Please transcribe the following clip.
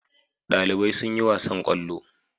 Dalibai sun yi wasan kwallo